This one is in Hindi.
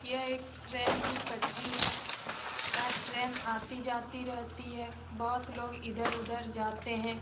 यह एक ट्रेन की पटरी है । यहाँ ट्रेन आती जाती रहती है बहुत लोग इधर उधर जाते हैं।